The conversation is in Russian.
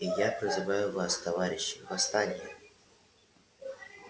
и я призываю вас товарищи восстание